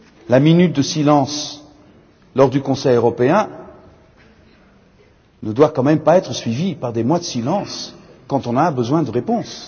La minute de silence lors du Conseil européen ne doit tout de même pas être suivie par des mois de silence quand on a besoin de réponses.